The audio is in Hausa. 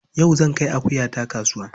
Yau zan kai akuyata kasuwa.